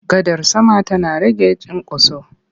Gadar sama tana rage cinkoso.